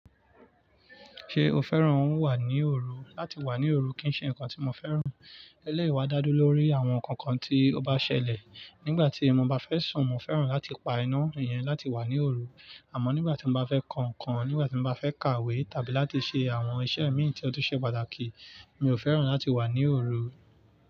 Ṣé o fẹ́ràn wà ní òru? Láti wà ní òru kì ń ṣe nǹkan tí mo fẹ́ràn. Ele yii dá dúró lórí àwọn nǹkan kan tí ó bá ṣẹlẹ̀. Nígbàtí mo bá fẹ́ sùn, mo fẹ́ràn láti pa iná, ìyẹn láti wà ní òru. Àmọ́ nígbàtí mo bá fẹ́ kàn nǹkan, nígbàtí mo bá fẹ́ kàwé tàbí láti ṣe àwọn iṣẹ́ mi tí ó tún ṣe pàtàkì, mi ò fẹ́ràn láti wà ní òru.